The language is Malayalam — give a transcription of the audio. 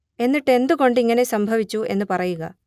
എന്നിട്ട് എന്ത് കൊണ്ട് ഇങ്ങനെ സംഭവിച്ചു എന്ന് പറയുക